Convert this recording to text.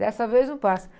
Dessa vez não passa.